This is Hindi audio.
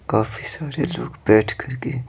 काफी सारे लोग बैठ कर के--